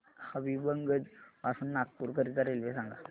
हबीबगंज पासून नागपूर करीता रेल्वे सांगा